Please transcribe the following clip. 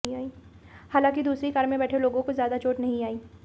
हालांकि दूसरी कार में बैठे लोगों को ज्यादा चोट नहीं आई